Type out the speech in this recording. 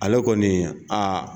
Ale kɔni nin a.